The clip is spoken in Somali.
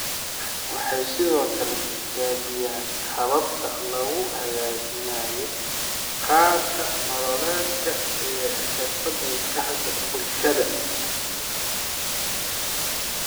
Waxay sidoo kale tijaabiyaan hababka lagu hagaajinayo qaab nololeedka iyo xirfadaha maskaxda iyo bulshada.